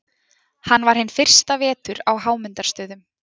hann var hinn fyrsta vetur á hámundarstöðum